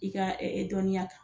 I ka ɛɛ dɔnniya kan.